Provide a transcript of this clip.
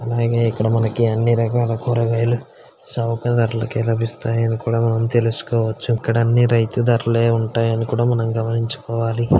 అలాగే ఇక్కడ మనకి అన్ని రకాల కూరగాయలు చౌక ధరాలకే లబిస్తాయి. అది కూడ మనం తెలుసుకోవచ్చు. ఇక్కడ అన్ని రైతు ధరలే ఉంటాయని కూడ మనం గమనించుకోవాలి.